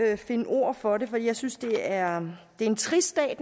at finde ord for det for jeg synes det er en trist dag